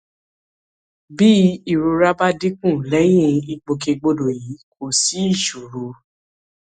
bí ìrora bá dínkù lẹyìn ìgbòkègbodò yìí kò sí ìṣòro